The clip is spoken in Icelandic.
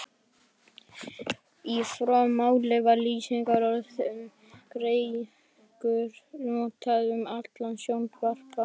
Í fornu máli var lýsingarorðið þungeygur notað um sjóndapra.